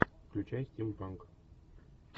включай стимпанк